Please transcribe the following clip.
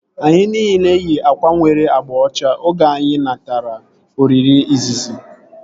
Anyi nile yi akwa nwere agba ọcha oge anyị natara oriri izizi